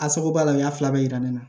A sababu b'a la u y'a fila bɛɛ yira ne na